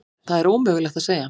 Það er ómögulegt að segja.